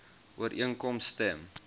ooreenkoms stem